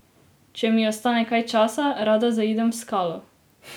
Če mi ostane kaj časa, rada zaidem v skalo.